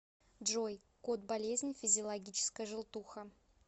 джой код болезни физиологическая желтуха